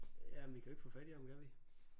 Jamen vi kan jo ikke få fat i ham kan vi